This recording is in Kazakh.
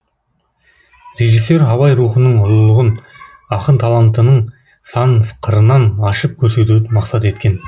режиссер абай рухының ұлылығын ақын талантының сан қырынан ашып көрсетуді мақсат еткен